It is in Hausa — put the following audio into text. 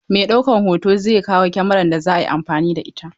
Mai ɗaukan hoto zai kawo Kamarar da za a yi amfani da ita.